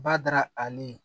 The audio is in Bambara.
Badara ale